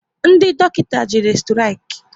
Ndị dọkịta jere sturiki